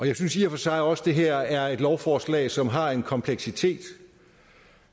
jeg synes i og for sig også at det her er et lovforslag som har en kompleksitet